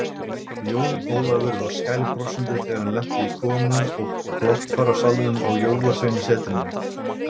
Jón Ólafur var skælbrosandi þegar hann lenti í komu og brottfararsalnum á Jólasveinasetrinu.